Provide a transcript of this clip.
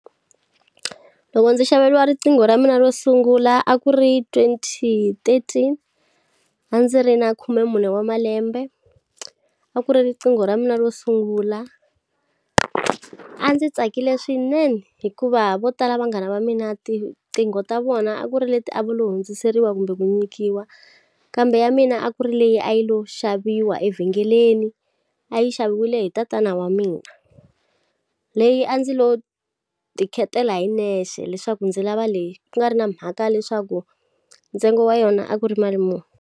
Loko ndzi xaveriwa riqingho ra mina ro sungula a ku ri twenty thirteen. A ndzi ri na khume mune wa malembe. A ku ri riqingho ra mina ro sungula. A ndzi tsakile swinene hikuva vo tala vanghana va mina tinqingho ta vona a ku ri leti a vo le hundziseriwa kumbe ku nyikiwa. Kambe ya mina a ku ri leyi a yi lo xaviwa evhengeleni, a yi xaviwile hi tatana wa mina. Leyi a ndzi lo ti khetela hi nexe leswaku ndzi lava leyi, ku nga ri na mhaka leswaku ntsengo wa yona a ku ri mali muni.